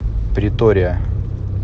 претория